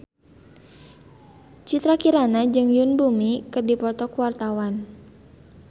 Citra Kirana jeung Yoon Bomi keur dipoto ku wartawan